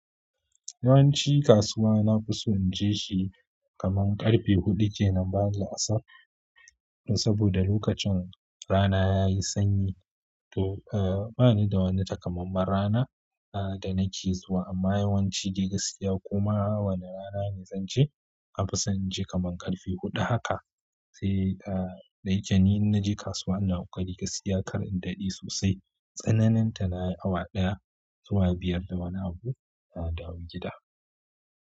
Yawanci kasuwa na fi so in je shi kaman ƙarfe huɗu kenan, bayan la'asar dan saboda lokacin rana ya yi sanyi to, eh ba ni da wani takamaiman rana da nake zuwa amma yawanci dai gaskiya koma wane rana ne zan je na fi son in je kaman ƙarfe huɗu haka sai eh da yake ni in na je kasuwa ina koƙari gaskiya kar in daɗe sosai. Tsananin ta nayi awa ɗaya zuwa biyar da wani abu na dawo gida.